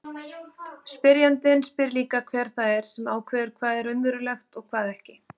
Spyrjandinn spyr líka hver það er sem ákveður hvað er raunverulegt og hvað ekki.